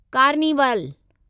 carnival